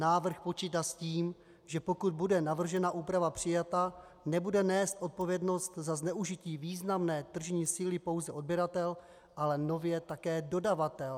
Návrh počítá s tím, že pokud bude navržená úprava přijata, nebude nést odpovědnost za zneužití významné tržní síly pouze odběratel, ale nově také dodavatel.